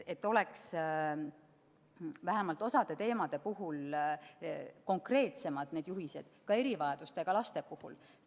Et oleks vähemalt osa teemade puhul konkreetsemad need juhised, ka erivajadustega laste puhul.